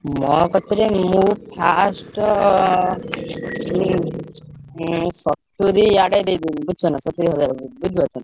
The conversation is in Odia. ମୋ କତିରେ minimum first ଉଁ ଉଁ ସତୁରୀ ଆଡେ ଦେଇଦେବି ବୁଝୁଛ ନା ସତୁରୀ ହଜାର ବୁଝିପାରୁଛ।